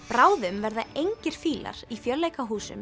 bráðum verða engir fílar í